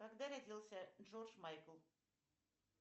когда родился джордж майкл